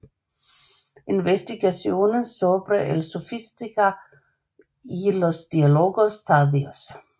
Investigaciones sobre el Sofista y los diálogos tardíos